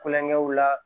Kulonkɛw la